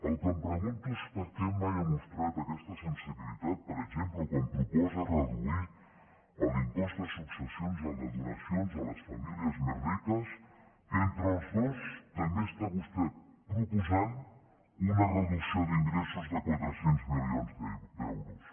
el que em pregunto és per què mai ha mostrat aquesta sensibilitat per exemple quan proposa reduir l’impost de successions i el de donacions a les famílies més riques que entre els dos també està vostè proposant una reducció d’ingressos de quatre cents milions d’euros